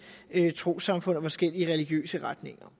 trossamfund og forskellige religiøse retninger